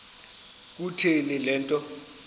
kutheni le nto